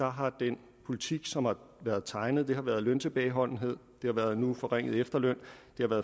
har den politik som har været tegnet været løntilbageholdenhed nu forringet efterløn